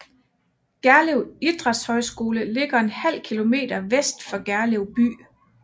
Gerlev Idrætshøjskole ligger en halv kilometer vest for Gerlev by